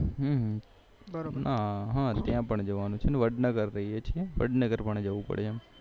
બરોબર ત્યાં પણ જવાનું છે અને વડનગર રહીએ છીએ વડનગર પણ જવું પડે એમ